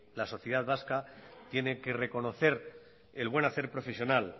la sociedad vasca tiene que reconocer el buen hacer profesional